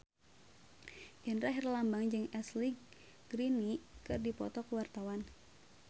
Indra Herlambang jeung Ashley Greene keur dipoto ku wartawan